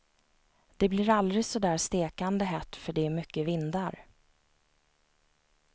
Det blir aldrig så där stekande hett för det är mycket vindar.